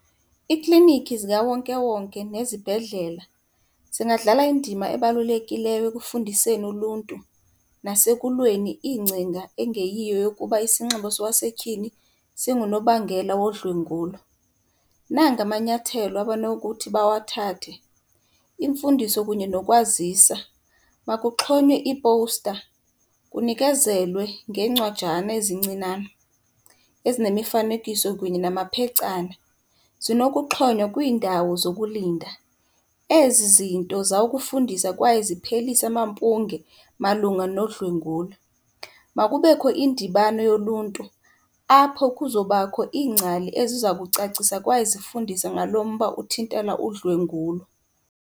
Iikliniki zikawonkewonke nezibhedlela zingadlala indima ebalulekileyo ekufundiseni uluntu nasekulweni iingcinga engeyiyo yokuba isinxibo sowasetyhini singunobangela wodlwengulwa. Nanga amanyathelo abanokuthi bawathathe, imfundiso kunye nokwazisa. Makuxhonywe iipowusta, kunikezelwe ngeencwadana ezincinane ezinemifanekiso kunye namaphecana. Zinokuxhonywa kwiindawo zokulinda. Ezi zinto zawukufundisa kwaye ziphelise amampunge malunga nodlwengulo. Makubekho indibano yoluntu apho kuzobakho iingcali eziza kucacisa kwaye zifundise ngalo mba uthintela udlwengulo.